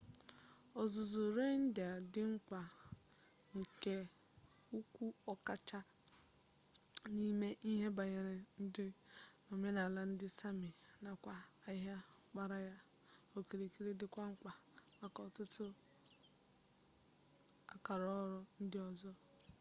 ọzụzụ reindeer dị mkpa nke ukwuu ọkachasị n'ime ihe banyere ndụ na omenaala ndị sami nakwa ahịa gbara ya okirikiri dịkwa mkpa maka ọtụtụ akaọrụ ndị ọzọ